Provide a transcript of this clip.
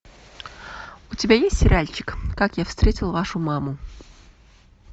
у тебя есть сериальчик как я встретил вашу маму